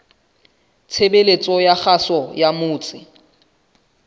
tshebeletso ya kgaso ya motse